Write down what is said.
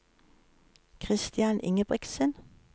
Kristian Ingebrigtsen